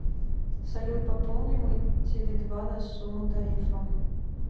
салют пополни мой теле два на сумму тарифа